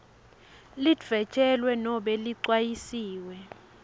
lidvwetjelwe nobe ligcanyisiwe